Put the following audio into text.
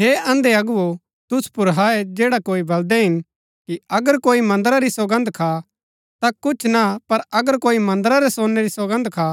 हे अंधे अगुवो तुसु पुर हाय जैडा कोई बलदै हिन कि अगर कोई मन्दरा री सौगन्द खा ता कुछ ना पर अगर कोई मन्दरा रै सोनै री सौगन्द खा